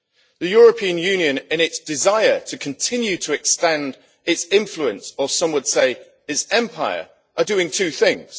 The European Union, in its desire to continue to extend its influence or, as some would say, its empire is doing two things.